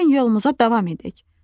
Gəlin yolumuza davam edək."